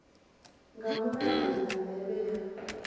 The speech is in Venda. nga mulayo na ndeme ya